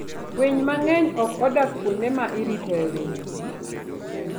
Winy mang'eny ok odak kuonde ma iritoe winy.